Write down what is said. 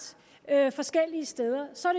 forskellige steder så er